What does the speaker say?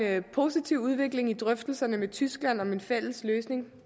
er en positiv udvikling i drøftelserne med tyskland om en fælles løsning